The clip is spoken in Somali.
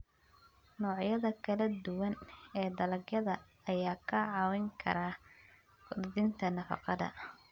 Noocyada kala duwan ee dalagyada ayaa kaa caawin kara kordhinta nafaqada.